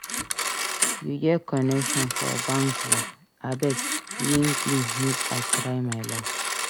You get connection for bank job? Abeg link me make I try my luck.